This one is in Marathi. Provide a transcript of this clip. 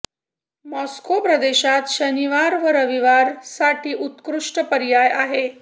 मॉस्को प्रदेशात शनिवार व रविवार साठी उत्कृष्ट पर्याय आहेत